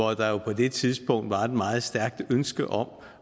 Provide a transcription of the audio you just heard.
det tidspunkt var et meget stærkt ønske om